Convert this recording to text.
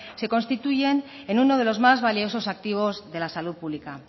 se constituyen en uno de los más valiosos activos de la salud pública